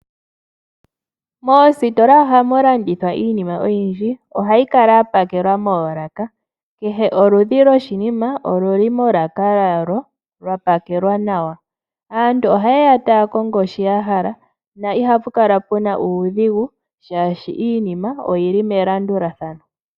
Moositola ohamu landithwa iinima oyindji. Ohayi kala ya pakelwa moolaka. Kehe oludhi lwoshinima olili molaka yalyo, lya pakelwa nawa. Aantu ohayeya taya kongo shi yahala, na ihapu kala puna uudhigu, oshoka iinima oyili melandulathano.